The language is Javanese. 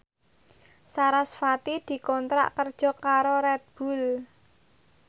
sarasvati dikontrak kerja karo Red Bull